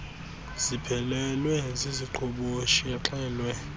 ziphelelwe ziziqhoboshi exelwe